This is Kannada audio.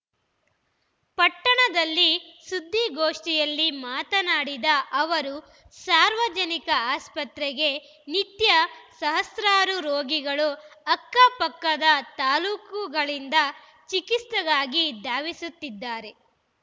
ಪಟ್ಟಣದಲ್ಲಿ ಸುದ್ದಿಗೋಷ್ಠಿಯಲ್ಲಿ ಮಾತನಾಡಿದ ಅವರು ಸಾರ್ವಜನಿಕ ಆಸ್ಪತ್ರೆಗೆ ನಿತ್ಯ ಸಹಸ್ರಾರು ರೋಗಿಗಳು ಅಕ್ಕಪಕ್ಕದ ತಾಲೂಕುಗಳಿಂದ ಚಿಕಿತ್ಸೆಗಾಗಿ ಧಾವಿಸುತ್ತಿದ್ದಾರೆ